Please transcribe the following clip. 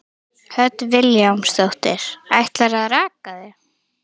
Hödd Vilhjálmsdóttir: Ætlarðu að raka þig?